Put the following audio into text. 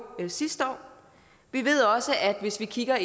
sidste år vi ved også hvis vi kigger